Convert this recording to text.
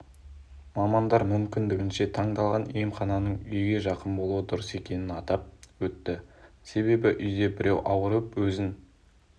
мамандар мүмкіндігінше таңдалған емхананың үйге жақын болуы дұрыс екенін атап өтті себебі үйде біреу ауырып өзін